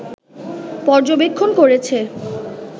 পর্যবেক্ষণ করেছে